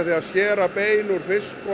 að skera bein úr fisk og